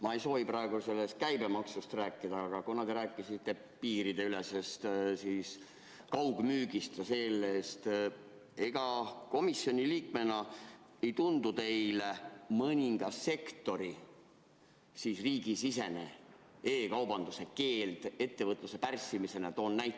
Ma ei soovi praegu sellest käibemaksust rääkida, aga kuna te rääkisite piirideülesest kaugmüügist või sellest, siis ega komisjoni liikmena ei tundu teile mõne sektori riigisisene e‑kaubanduse keeld ettevõtluse pärssimisena?